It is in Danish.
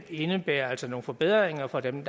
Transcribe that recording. indebærer altså nogle forbedringer for dem